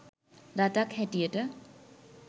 රටක් හැටියට